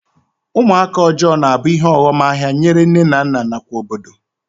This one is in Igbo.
Ụmụaka ọjọọ na-abụ ihe ọghọm ahịa nyere nne na nna nakwa obodo